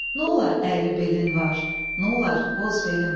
Nolar əyri belin var, nolar qoz belin var.